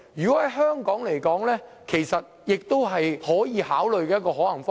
在香港來說，這亦是一個可以考慮的可行方式。